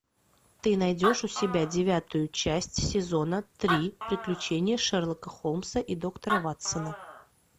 ты найдешь у себя девятую часть сезона три приключения шерлока холмса и доктора ватсона